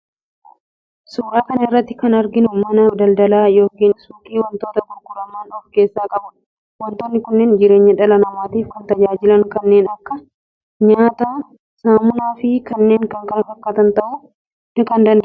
Suuraa kana irratti kan arginu mana daldalaa yookiin suuqii wantoota gurguraman of keessaa qabuudha. Wantoonni kunneen jireenya dhala namaatiif kan tajaajilan kanneen akka: nyaata, saamunaafi kanneen kana fakkaatan ta'uu danda'u.